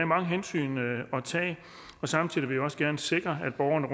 mange hensyn at tage samtidig vil vi også gerne sikre at borgerne